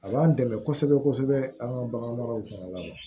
A b'an dɛmɛ kosɛbɛ kosɛbɛ an ka bagan maraw fana la